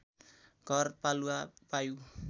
घर पालुवा वायु